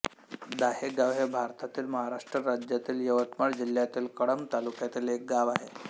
दाहेगाव हे भारतातील महाराष्ट्र राज्यातील यवतमाळ जिल्ह्यातील कळंब तालुक्यातील एक गाव आहे